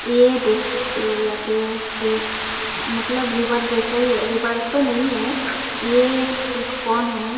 यह देख सकते हो यहां पे ये मतलब रीवर जैसा ही रीवर तो नहीं है ये एक फोन है।